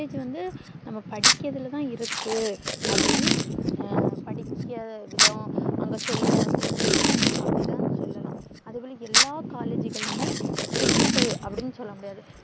collage வந்து நம்ம படிக்கிறதுள தான் இருக்கு அப்டின்னு படிக்க விதம் அங்க சொல்லி தந்த விதம் அப்டின்னு சொல்லலாம் எல்லாம் collage களுமே strict அப்டின்னு சொல்ல முடியாது